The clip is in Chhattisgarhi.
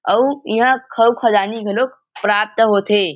अउ इहाँ खऊ -ख़जानि घलोक प्राप्त होथे।